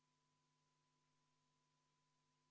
Poolt on 2, vastu 57 ja erapooletuid 1.